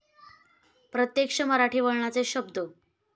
प्रत्यक्ष मराठी वळणाचे शब्ध इ.